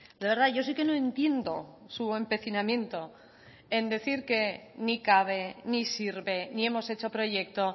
de verdad yo sí que no entiendo su empecinamiento en decir que ni cabe ni sirve ni hemos hecho proyecto